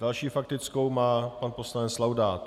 Další faktickou má pan poslanec Laudát.